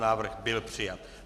Návrh byl přijat.